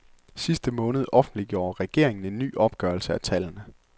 I sidste måned offentliggjorde regeringen en ny opgørelse af tallene.